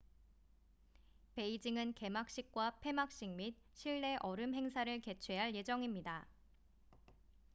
베이징은 개막식과 폐막식 및 실내 얼음 행사를 개최할 예정입니다